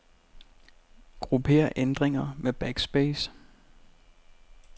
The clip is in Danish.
Grupper ændringer med backspace.